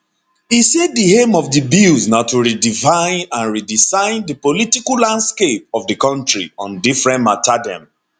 e say di aim of di bills na to redefine and redesign di political landscape of di kontri on different mata dem